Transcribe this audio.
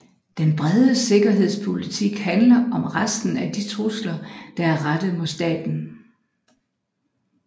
Den brede sikkerhedspolitik handler om resten af de trusler der er rettet mod staten